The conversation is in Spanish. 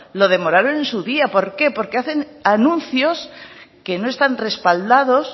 lo demoraron en su día por qué porque hacen anuncios que no están respaldados